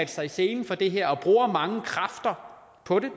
sig i selen for det her og bruger mange kræfter på det